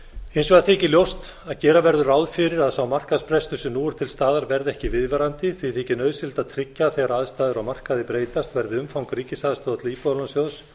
hins vegar þykir ljóst að gera betur ráð fyrir að sá markaðsbrestur sem nú er til staðar verði ekki viðvarandi því þykir nauðsynlegt að tryggja að þegar aðstæður á markaði breytast verði umfang ríkisaðstoðar til íbúðalánasjóðs